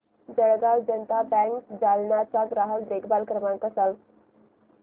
Jalgaon Janata bank Jalna चा ग्राहक देखभाल क्रमांक सांग